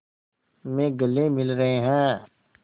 में गले मिल रहे हैं